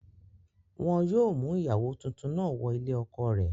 Wọn yóò mú ìyàwó tuntun náà wọ ilé ọkọ rẹ̀